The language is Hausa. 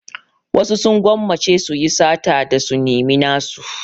Wasu sun gwammace su yi sata da su nemi nasu.